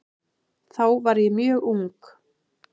Þá var ég mjög ung.